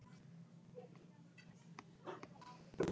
Af hverju er ég veikur?